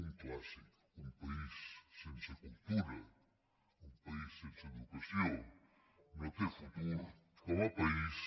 un clàssic un país sense cultura un país sense educació no té futur com a país